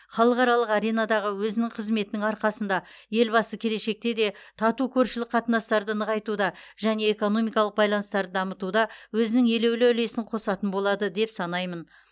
халықаралық аренадағы өзінің қызметінің арқасында елбасы келешекте де тату көршілік қатынастарды нығайтуда және экономикалық байланыстарды дамытуда өзінің елеулі үлесін қосатын болады деп санаймын